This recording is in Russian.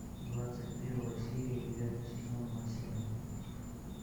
двадцать первая серия девятый сезон масяня